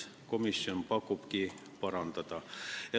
Komisjon pakubki, et seda tuleks parandada.